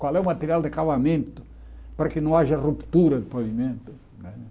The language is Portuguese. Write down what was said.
Qual é o material de acabamento para que não haja ruptura do pavimento, né?